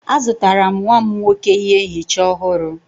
Azụtara m nwa m nwoke ihe nchicha ọhụrụ.